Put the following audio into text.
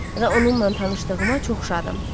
Və onunla tanışlığıma çox şadam.